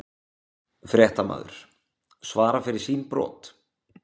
Fréttamaður: Svara fyrir sín brot?